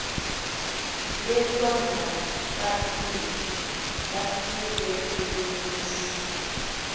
bekwangabafiki kulo mzi